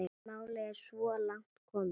Málið er svo langt komið.